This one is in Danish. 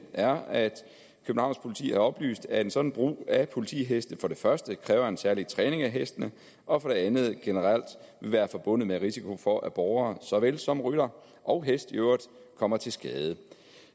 er at københavns politi har oplyst at en sådan brug af politiheste for det første kræver en særlig træning af hestene og for det andet generelt vil være forbundet med risiko for at borgere så vel som rytter og hest øvrigt kommer til skade